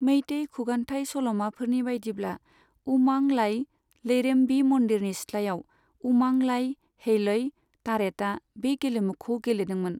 मेइतेइ खुगान्थाय सल'माफोरनि बायदिब्ला उमां लाइ लैरेम्बी मन्दिरनि सिथ्लायाव उमां लाइ हेलइ तारेटआ बे गेलेमुखौ गेलेदोंमोन।